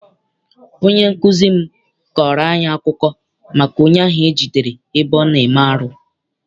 Onye nkụzi m kọọrọ anyị akụkọ maka onye ahụ e jidere ebe ọ na-eme arụ.